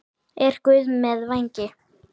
Er Guð með vængi?